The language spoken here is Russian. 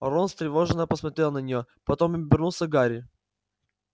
рон встревоженно посмотрел на нее потом обернулся к гарри